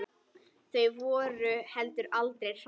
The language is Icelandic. Þau voru heldur aldrei hrædd.